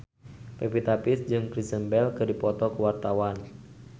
Pevita Pearce jeung Kristen Bell keur dipoto ku wartawan